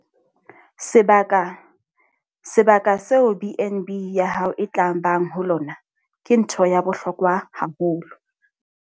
Sebaka - Sebaka seo B and B ya hao e tla bang ho lona ke ntho ya bohlokwa haholo.